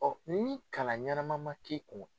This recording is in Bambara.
Ɔ ni kalan ɲanama ma k'i kun